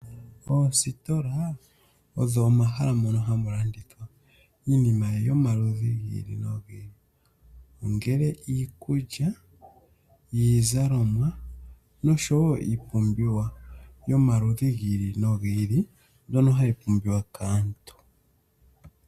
Oositola odho omahala mono hamu landithwa iinima yomaludhi gi ili nogi ili. Ongele iikulya, iizalomwa, noshowo iipumbiwa yomaludhi gi ili nogi ili, mbyono hayi pumbiwa kaantu.